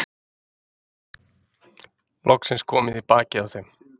Loksins komið í bakið á þeim.